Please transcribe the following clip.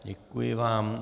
Děkuji vám.